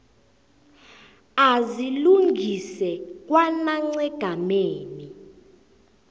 azilungise kwanac egameni